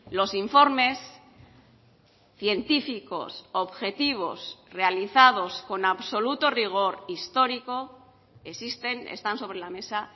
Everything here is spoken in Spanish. los informes científicos objetivos realizados con absoluto rigor histórico existen están sobre la mesa